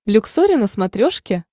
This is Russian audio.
люксори на смотрешке